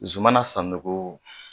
Zumana Sanogo